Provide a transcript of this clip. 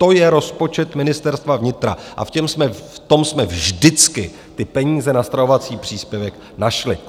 To je rozpočet Ministerstva vnitra a v tom jsme vždycky ty peníze na stravovací příspěvek našli.